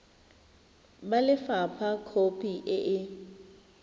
ba lefapha khopi e e